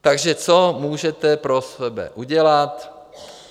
Takže co můžete pro sebe udělat?